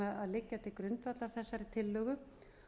liggja til grundvallar þessari tillögu